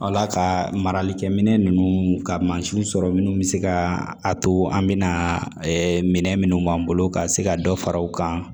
Ala ka maralikɛ minɛn ninnu ka mansinw sɔrɔ minnu bɛ se ka a to an bɛna minnu b'an bolo ka se ka dɔ fara u kan